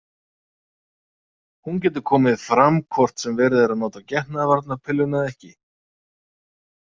Hún getur komið fram hvort sem verið er að nota getnaðarvarnarpilluna eða ekki.